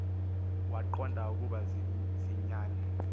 waqonda ukuba ziyinyani